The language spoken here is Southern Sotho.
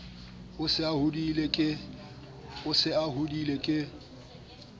a se a hodile ke